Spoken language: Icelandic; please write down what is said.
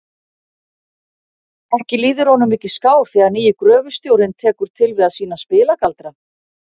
Ekki líður honum mikið skár þegar nýi gröfustjórinn tekur til við að sýna spilagaldra.